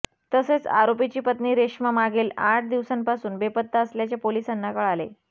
तसेच आरोपीची पत्नी रेश्मा मागील आठ दिवसांपासून बेपत्ता असल्याचे पोलिसांना कळाले